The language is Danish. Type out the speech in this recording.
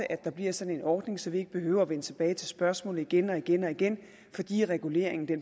at der bliver sådan en ordning så vi ikke behøver at vende tilbage til spørgsmålet igen og igen og igen fordi reguleringen